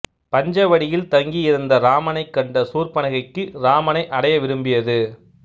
பஞ்சவடியில் தங்கியிருந்த இராமனைக் கண்ட சூர்ப்பனகைக்கு இராமனை அடைய விரும்பியது